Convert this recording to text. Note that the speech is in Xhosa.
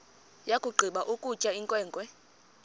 yakugqiba ukutya inkwenkwe